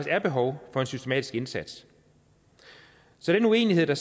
er behov for en systematisk indsats så den uenighed der